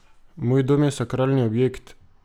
Moj dom je sakralni objekt!